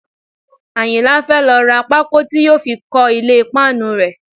Àyìnlá fẹ́ lọ ra pákó tí yóò fi kọ́ ilé páànù rẹ̀